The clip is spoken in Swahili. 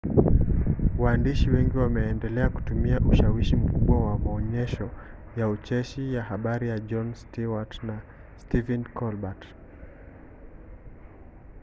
waandishi wao wengi wameendelea kutumia ushawishi mkubwa kwa maonyesho ya ucheshi ya habari ya jon stewart na stephen colbert